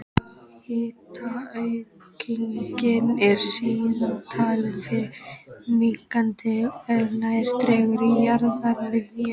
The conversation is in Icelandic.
Hitaaukningin er síðan talin fara minnkandi er nær dregur jarðarmiðju.